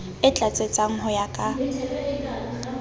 e tlatsetsang ho ya ka